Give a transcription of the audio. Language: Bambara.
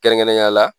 Kɛrɛnkɛrɛnnenya la